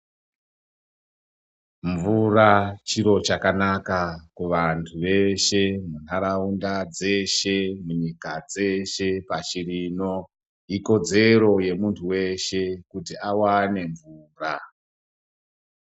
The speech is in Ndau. Mvura chiro chakanaka kuvandu veshe nharaunda dzeshe munyika dzeshe pashi rino ikodzero yemundu weshe kuti awane mvura.